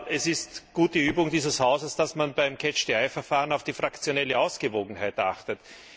Es ist gute Übung dieses Hauses, dass man beim Catch the eye Verfahren auf die fraktionelle Ausgewogenheit achtet.